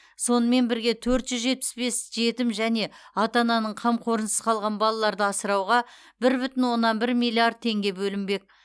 сонымен бірге төрт жүз жетпіс бес жетім және ата ананың қамқорынсыз қалған балаларды асырауға бір бүтін оннан бір миллиард теңге бөлінбек